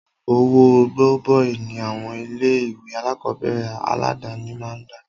Owó gọbọi ní àwọn ilé ìwé alákọ̀berẹ̀ aládàni máà ń gbà.